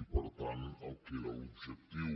i per tant el que era l’objectiu